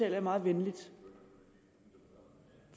jeg meget venligt